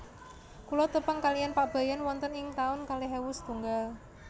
Kula tepang kaliyan Pak Bayan wonten ing taun kalih ewu setunggal